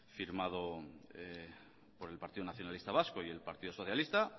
firmado por el partido nacionalista vasco y el partido socialista